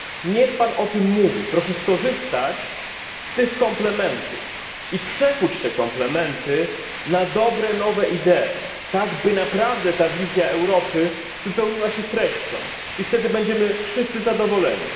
Niech Pan o tym mówi! Proszę skorzystać z tych komplementów i przekuć te komplementy na dobre, nowe idee, tak by naprawdę ta wizja Europy wypełniła się treścią, i wtedy będziemy wszyscy zadowoleni.